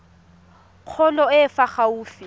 kgolo e e fa gaufi